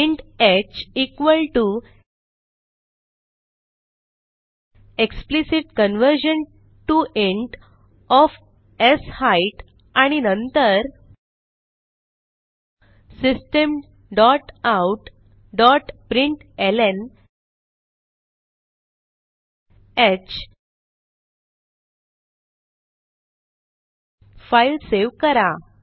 int h equal to explicit conversion to int of short आणि नंतर system dot out dot println file save करा